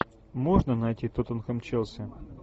можно найти тоттенхэм челси